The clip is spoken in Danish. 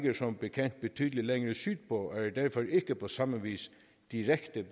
som bekendt betydelig længere sydpå og er derfor ikke på samme vis direkte